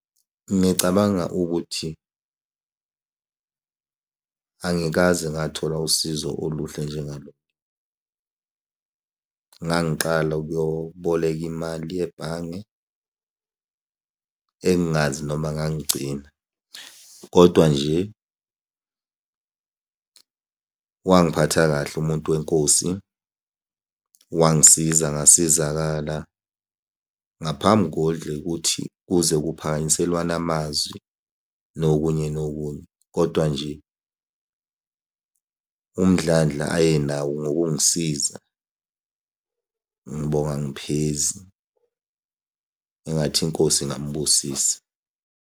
Ngicabanga ukuthi angikaze ngathola usizo oluhle njengalolu. Ngangiqala ukuyoboleka imali yebhange, engingazi noma ngangigcina, kodwa nje wangiphatha kahle umuntu wenkosi. Wangisiza ngasizakala ngaphambi kuthi kuze kuphakanyiselwane amazwi nokunye nokunye, kodwa nje umdlandla ayenawo ngokungisiza. Ngibonga angiphezi, engathi iNkosi ingamubusisa.